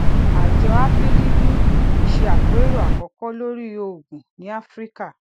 àjọ afdb se àpérò àkọkọ lórí òògùn ní áfíríkà